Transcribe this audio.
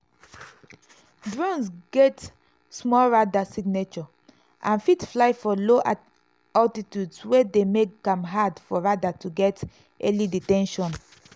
drones get small radar signature and fit fly for low altitudes wey dey make am hard for radar to get early detection.